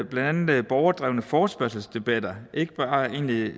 blandt andet borgerdrevne forespørgselsdebatter ikke bare egentlige